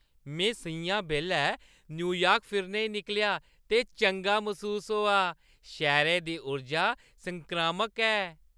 में स'ञां बैल्लै न्यूयार्क फिरने ई निकलेआ ते चंगा मसूस होआ। शैह्‌रै दी उर्जा संक्रामक ऐ।